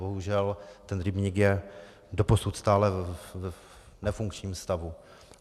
Bohužel ten rybník je doposud stále v nefunkčním stavu.